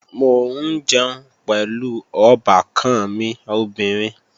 Mò ń jẹun pẹ̀lú ọbàkan mi obìnrin